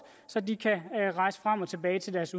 så de kan rejse frem og tilbage til deres